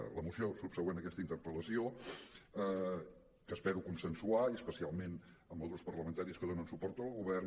en la moció subsegüent a aquesta interpel·lació que espero consensuar i especialment amb els grups parlamentaris que donen suport al govern